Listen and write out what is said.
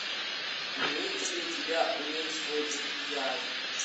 имеется ли у тебя умерь свой энтузиазм